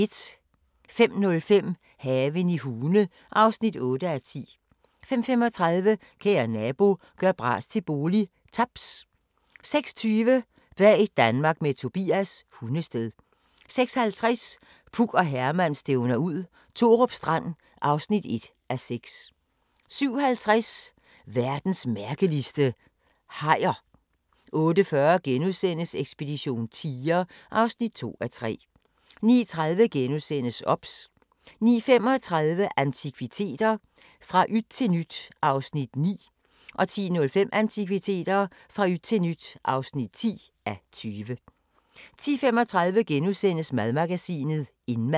05:05: Haven i Hune (8:10) 05:35: Kære nabo – gør bras til bolig – Taps 06:20: Bag Danmark med Tobias – Hundested 06:50: Puk og Herman stævner ud – Thorup Strand (1:6) 07:50: Verdens mærkeligste – hajer 08:40: Ekspedition tiger (2:3)* 09:30: OBS * 09:35: Antikviteter – fra yt til nyt (9:20) 10:05: Antikviteter – fra yt til nyt (10:20) 10:35: Madmagasinet – Indmad *